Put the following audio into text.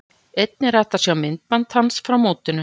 Einnig er hægt að sjá myndband hans frá mótinu.